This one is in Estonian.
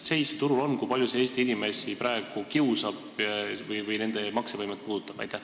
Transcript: Mis seis turul on, kui palju see praegu Eesti inimesi kiusab või nende maksevõimet puudutab?